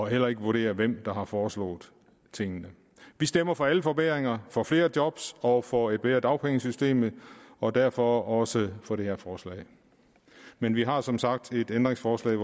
heller ikke vurdere hvem der har foreslået tingene vi stemmer for alle forbedringer for flere job og for et bedre dagpengesystem og derfor også for det her forslag men vi har som sagt et ændringsforslag